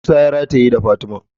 Musa ya rataye da fatima.